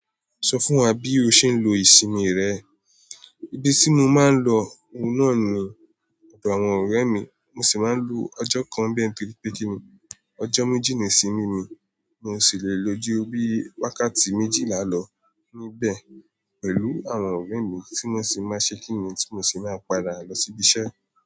Sọ fún wa bí o ṣe ń lo ìsinmi rẹ. Ibi tí mo máa ń lọ òun náà ni ọ̀dọ̀ àwọn ọ̀rẹ́ mi, mo sì máa ń lo ọjọ́ kan bẹ́ẹ̀ nítorí pé kí ni ọjọ́ méjì ni ìsinmi mi, mio sì le lo ju bí wákàtí méjìlá lọ níbẹ̀ pẹ̀lú àwọn ọ̀rẹ́ mi tí wọ́n sì máa ṣe kí ni tí mo sì máa padà lọ sí ibi iṣẹ́.